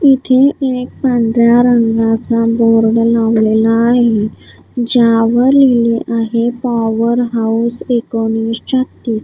इथे एक पांढऱ्या रंगाचा बोर्ड लावलेला आहे ज्यावर लिहिले आहे पॉवर हाऊस एकोणीस छत्तीस.